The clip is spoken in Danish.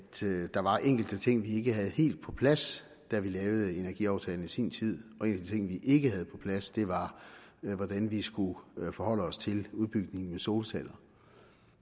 der var enkelte ting vi ikke havde helt på plads da vi lavede energiaftalen i sin tid og en af de ting vi ikke havde på plads var hvordan vi skulle forholde os til udbygningen af solceller